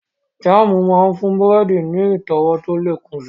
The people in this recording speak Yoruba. Jáàmù máa ń fún búrẹ́dì ní ìtọ́wọ̀ tó lè kún si